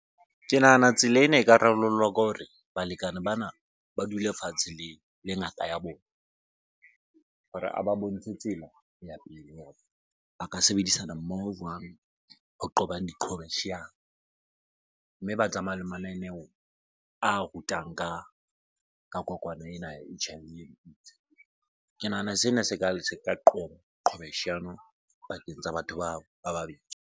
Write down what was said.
Ke nahana tsela ena eka rarollwa ka hore balekane bana ba dule fatshe le ya bona hore a ba bontshe tsela ya pele hore ba ka sebedisana mmoho jwang ho qobang diqhobosheano. Mme ba tsamaye le mananeho a rutang ka kokwana ena ya H_I_V and AIDS. Ke nahana sena se ka qoba qhobosheano pakeng tsa batho bao ba babedi.